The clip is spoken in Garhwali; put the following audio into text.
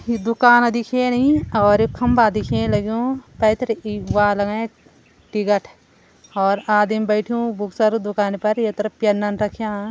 यी दुकाना दिखेणी और खम्बा दिखेण लग्युं पैथर ई द्वार लगायां टिकट और आदमी बैठ्युं भुत सारी दुकानि पर यतरा प्यन रख्यां।